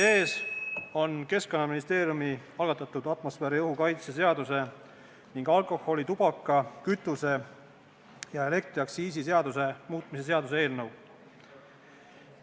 Teie ees on Keskkonnaministeeriumi algatatud atmosfääriõhu kaitse seaduse ning alkoholi-, tubaka-, kütuse- ja elektriaktsiisi seaduse muutmise seaduse eelnõu.